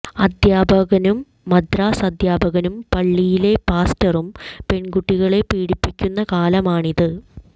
അധ്യാപകനും മദ്രസ അധ്യാപകനും പള്ളിയിലെ പാസ്റ്ററും പെണ്കുട്ടികളെ പീഡിപ്പിക്കുന്ന കാലമാണിത്